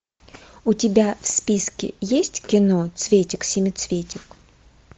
у тебя в списке есть кино цветик семицветик